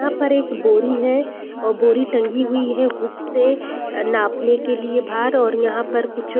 यहाँ पर एक बोरी है और बोरी टंगी हुई है हुक से नापने के लिए भार और यहाँ पर कुछ --